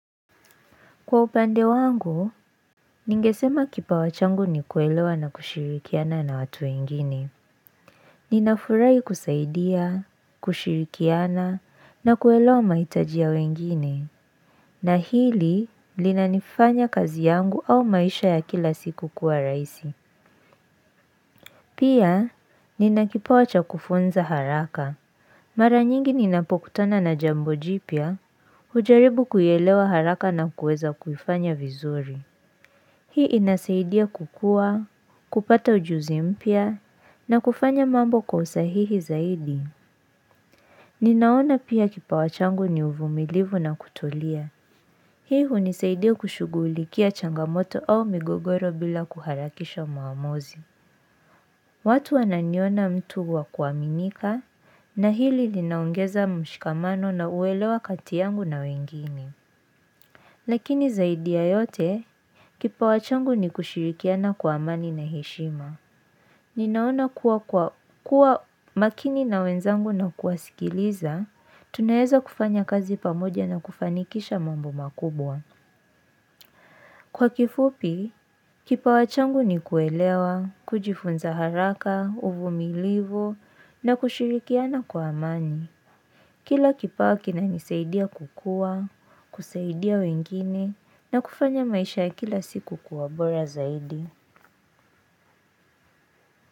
Kwa upande wangu, ningesema kipawa changu ni kuelewa na kushirikiana na watu wengine. Ninafurahi kusaidia, kushirikiana, na kuelewa mahitaji ya wengine. Na hili, linanifanya kazi yangu au maisha ya kila siku kuwa rahisi. Pia, nina kipawa cha kufunza haraka. Mara nyingi ninapokutana na jambo jipya, hujaribu kuielewa haraka na kueza kuifanya vizuri. Hii inasaidia kukua, kupata ujuzi mpya, na kufanya mambo kwa usahihi zaidi. Ninaona pia kipawa changu ni uvumilivu na kutolia. Hii hunisaidia kushughulikia changamoto au migogoro bila kuharakisha maamuzi. Watu wanaiona mtu wa kuaminika, na hili linaongeza mshikamano na uelewa kati yangu na wengine. Lakini zaidi ya yote, kipawa changu ni kushirikiana kwa amani na heshima. Ninaona kuwa makini na wenzangu na kuwasikiliza, tunaeza kufanya kazi pamoja na kufanikisha mambo makubwa. Kwa kifupi, kipawa changu ni kuelewa, kujifunza haraka, uvumilivu na kushirikiana kwa amani. Kila kipawa kinanisaidia kukua, kusaidia wengine na kufanya maisha ya kila siku kuwa bora zaidi.